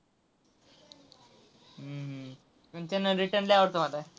हम्म हम्म कंचना return लय आवडतो मला.